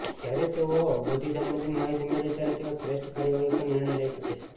જ્યારે તેઓ બધી સંબંધિત માહિતી મેળવે ત્યારે તેઓ શ્રેષ્ઠ કાર્યવાહી પર નિર્ણય લઈ શકે છે